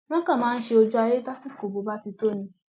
wọn kàn máa ń ṣe ojú ayé tásìkò ìbò bá ti tó ni